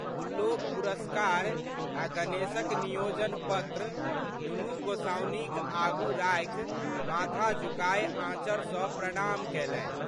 गुल्लोक पुरस्कार आ गणेशक नियोजन पत्र दुनू गोसाउनिक आगू राखि माथा झुकाय आँचर सँ प्रणाम कयलनि।